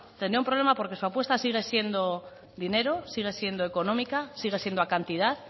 tendría un problema porque su apuesta sigue siendo dinero sigue siendo económica sigue siendo a cantidad